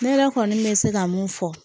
Ne yɛrɛ kɔni bɛ se ka mun fɔ